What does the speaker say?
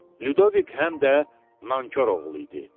Ludovik həm də nankor oğlu idi.